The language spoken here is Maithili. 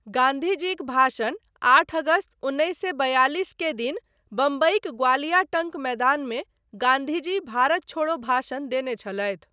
गान्धीजीक भाषण आठ अगस्त उन्नैस सए बयालिस के दिन, बम्बईक ग्वालिया टंक मैदानमे गान्धीजी भारत छोड़ो भाषण देने छलथि।